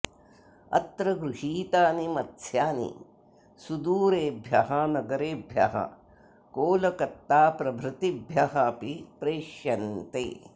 अत्र गृहीतानि मत्स्यानि सुदूरेभ्यः नगरेभ्यः कोलकत्ताप्रभृत्तिभ्यः अपि प्रेष्यन्ते